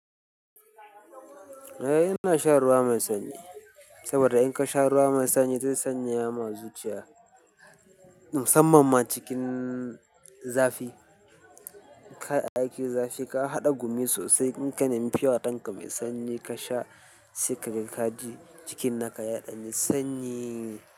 Eh ina shan ruwa mai sanyi saboda in ka sha ruwa mai sanyi zai sanya ma zuciya. Musamman ma cikin zafi. Ka aikin zafi ka haɗa gumi sosai in ka nemi pure water ɗin ka sanyi ka sha sikarin ka ji jikin naka ya ɗani sanyi.